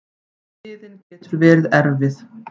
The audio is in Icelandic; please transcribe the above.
Biðin getur verið erfið.